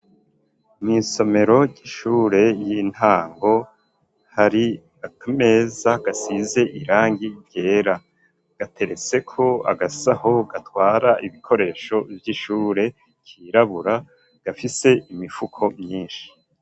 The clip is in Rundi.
Mw'isomero ry'ishure y'intango hari akameza gasize irangi ryera ,gatereseko agasaho gatwara ibikoresho vy'ishure kirabura gafise imifuko myinshi.